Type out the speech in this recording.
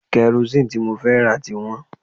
Karosín tí mo fẹ́ rà ti wọ́n